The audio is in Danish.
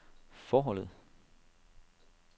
forholdet